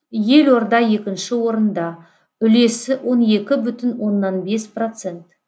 елорда екінші орында үлесі он екі бүтін оннан бес процент